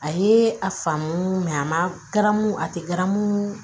A ye a faamu a ma garamu a tɛ garamu